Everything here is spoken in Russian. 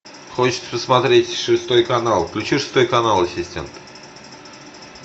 хочется посмотреть шестой канал включи шестой канал ассистент